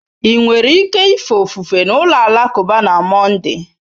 Ị nwere ike ife ofufe n'ụlọ alakụba na Monday?